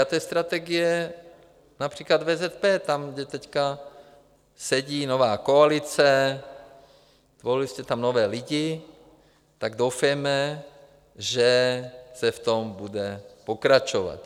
A to je strategie například VZP, tam, kde teď sedí nová koalice, zvolili jste tam nové lidi, tak doufejme, že se v tom bude pokračovat.